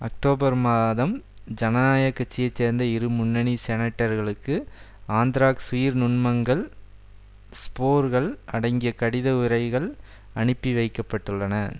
October மாதம் ஜனநாயக கட்சியை சேர்ந்த இரு முன்னணி செனட்டர்களுக்கு அந்த்ராக்ஸ் உயிர் நுண்மங்கள் ஸ்போர்கள் அடங்கிய கடித உறைகள் அனுப்பி வைக்க பட்டுள்ளன